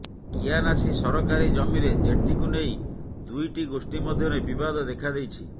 କିଆନାସି ସରକାରୀ ଜମିରେ ଜେଟିକୁ ନେଇ ଦୁଇଟି ଗୋଷ୍ଠୀ ମଧ୍ୟରେ ବିବାଦ ଦେଖାଦେଇଛି